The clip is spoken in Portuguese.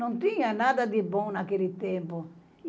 Não tinha nada de bom naquele tempo.